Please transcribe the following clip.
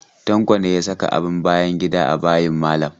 Tanko ne ya saka abin bayan gida a bayin malam?